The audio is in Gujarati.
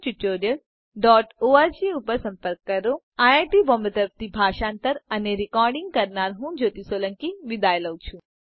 જોડાવા બદ્દલ આભાર આઈઆઈટી બોમ્બે તરફથી ભાષાંતર કરનાર હું જ્યોતિ સોલંકી વિદાય લઉં છું